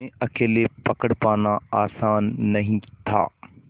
उन्हें अकेले पकड़ पाना आसान नहीं था